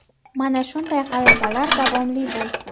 Mana shunday g‘alabalar davomli bo‘lsin.